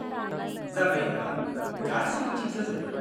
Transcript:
जाबाय होमबा, गासिबो थिक जाजोब्बाय।